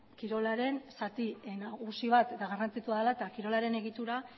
kirolaren zati nagusi bat eta garrantzitsua dela eta kirolaren egitura